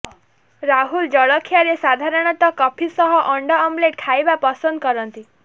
ରାହୁଲ ଜଳଖିଆରେ ସାଧାରଣତଃ କଫି ସହ ଅଣ୍ଡା ଅମଲେଟ୍ ଖାଇବା ପସନ୍ଦ କରନ୍ତି